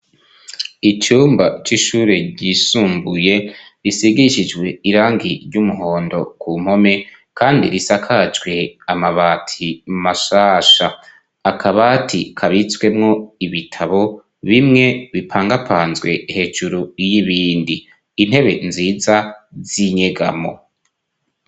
Icumba c'ishure ryisumbuye risigishijwe irangi ry'umuhondo ku mpome, kandi risakajwe amabati mashasha ,akabati kabitswemwo ibitabo bimwe bipangapanzwe hejuru y'ibindi, intebe nziza z'inyegamo.